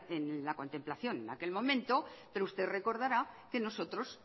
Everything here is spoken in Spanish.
en la contemplación en aquel momento pero usted recordará que nosotros